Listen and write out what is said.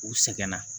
U sɛgɛnna